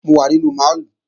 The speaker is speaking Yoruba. Mo wà nínú máàlù